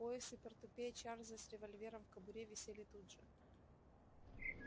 пояс и портупея чарлза с револьвером в кобуре висели тут же